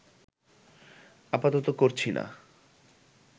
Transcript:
আপাতত করছি না